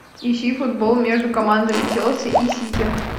ищи футбол между командами челси и сити